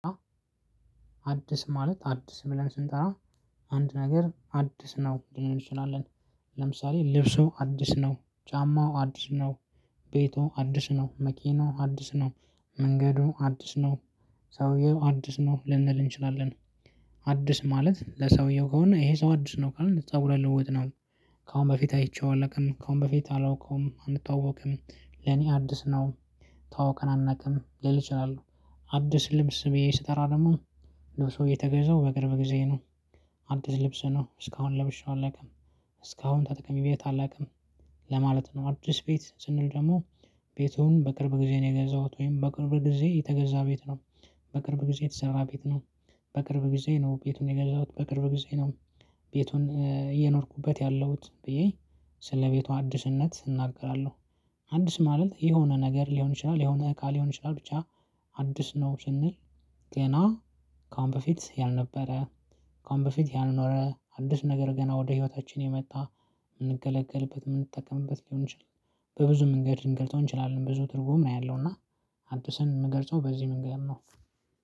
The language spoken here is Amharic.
አዲስ ማለት አዲስ ብለን ስንጠራ አንድ ነገር አዲስ ነው ልንል እንችላለን። ለምሳሌ ልብሱ አዲስ ነው ጫማው አዲስ ነው። ቤቱ አዲስ ነው መኪናው አዲስ ነው። መንገዱ አዲስ ነው። ሰውየው አዲስ ነው ልንል እንችላለን። አዲስ ማለት ለሰውየው ከሆነ ይሄ ሰው አዲስ ነው ካልን ፀጉረ ልውጥ ነው። ከአሁን በፊት አይቼው አላውቅም ከአሁን በፊት አላውቀውም አንተዋወቅም ለኔ አዲስ ነው። ተዋውቀን አናውቅም ልል እችላለሁ። ልብስ ብዬ ስጠራ ደግሞ ልብሱ የተገዛው በቅርብ ጊዜ ነው። አዲስ ልብስ ነው እስካሁን ለብሸው አላውቅም። እስካሁን ተጠቅሜበት አላውቅም። ለማለት ነው። አዲስ ቤት ስንል ደግሞ ቤቱን በቅርብ ጊዜ ነው የገዛሁት ወይም በቅርብ ጊዜ የተገዛ ቤት ነው። በቅርብ ጊዜ የተሰራ ቤት ነው። በቅርብ ጊዜ ነው ቤቱን የገዛሁት በቅርብ ጊዜ ነው። ቤቱን እየኖርኩበት ያለሁት ብዬ። ስለቤቱ አዲስነት እናገራለሁ። አዲስ ማለት የሆነ ነገር ሊሆን ይችላል የሆነ እቃ ሊሆን ይችላል ብቻ። አዲስ ነው ስንል። ገና ከአሁን በፊት ያልነበረ ከአሁን በፊት ያልኖረ አዲስ ነገር ገና ወደ ህይወታችን የመጣ። የምንገለገልበት የምንጠቀምበት ሊሆን ይችላል። በብዙ መንገድ ልንገጸው እንችላለን ብዙ ትርጉም ነው ያለው እና። አዲስን የምገልጸው በዚህ መንገገድ ነው።